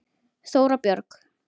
Þóra Björg.